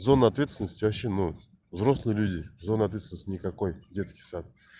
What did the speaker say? зона ответственности вообще ну взрослые люди зоны ответственности никакой детский сад